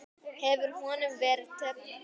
Hefur honum verið teflt fram?